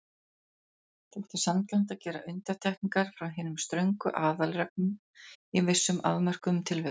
Þótti sanngjarnt að gera undantekningar frá hinum ströngu aðalreglum í vissum afmörkuðum tilvikum.